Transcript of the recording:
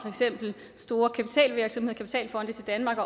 store kapitalfonde til danmark